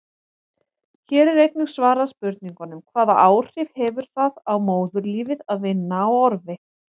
Hér er einnig svarað spurningunum: Hvaða áhrif hefur það á móðurlífið að vinna á orfi?